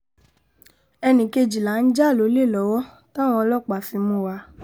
ẹnì kejì là ń jà lólè lọ́wọ́ táwọn ọlọ́pàá fi mú wa